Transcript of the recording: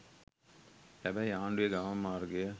හැබැයි ආණ්ඩුවේ ගමන් මාර්ගය